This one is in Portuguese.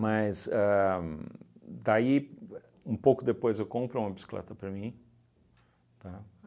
Mas daí ahn, um pouco depois eu compro uma bicicleta para mim, tá?